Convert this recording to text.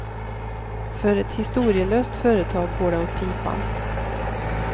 För ett historielöst företag går det åt pipan.